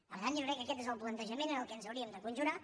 per tant jo crec que aquest és el plantejament en què ens hauríem de conjurar